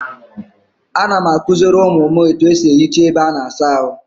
A na m akoziri umu m etu esi ehicha ebe a na-asa ahu.